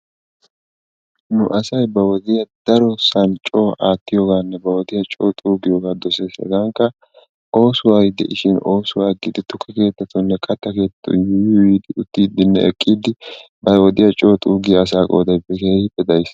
Nu asayi ba wodiya coo aattiyogaanne ba wodiya coo xuuggiyogaa doses. Hegankka oosoyi de"ishin oosuwa aggidi tukke keettatuuninne katta keettatun yuuyyi yuuyyidi uttiiddinne eqqiiddi ba wodiya coo xuuggiya asaa qoodayi keehippe daris.